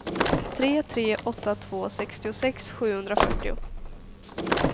tre tre åtta två sextiosex sjuhundrafyrtio